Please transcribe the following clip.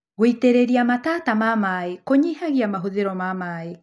Wĩitĩrĩria matata ma maĩ kũnyihagia mahũthĩro ma maĩ.